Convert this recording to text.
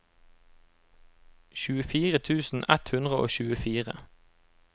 tjuefire tusen ett hundre og tjuefire